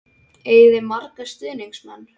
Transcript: Eigið þið marga stuðningsmenn?